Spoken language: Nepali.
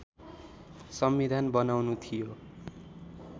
संविधान बनाउनु थियो